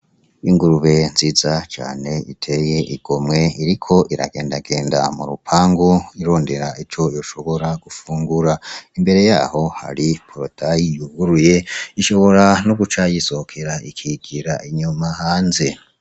Ingurube nziza cane iteye igomwe, iriko iragendagenda mu rupangu irondera ico ishobora gufungura, imbere yaho hari porotaye yuguruye ishobora no guca yisohokera ikigira inyuma hanze.